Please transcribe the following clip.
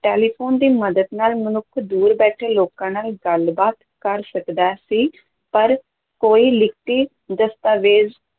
telephone ਦੀ ਮਦਦ ਨਾਲ ਮਨੁੱਖ ਦੂਰ ਬੈਠੇ ਲੋਕਾਂ ਨਾਲ ਗੱਲਬਾਤ ਕਰ ਸਕਦਾ ਸੀ, ਪਰ ਕੋਈ ਲਿਖਤੀ ਦਸਤਾਵੇਜ਼